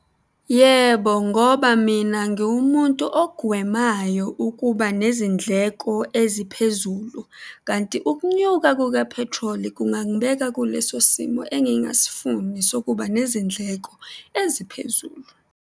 Yebo, ngoba mina ngiwumuntu ogwemayo ukuba nezindleko eziphezulu, kanti ukunyuka kukaphethroli kungangibeka kuleso simo engingasifuni sokuba nezindleko eziphezulu.